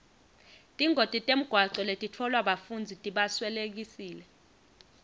tingoti temgwaco letitfolwa bafundzi tibaswelekise